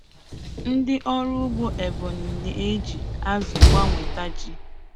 Ndị ọrụ ugbo Ebonyi na-eji azụ gbanweta ji.